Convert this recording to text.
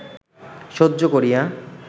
সহ্য করিয়া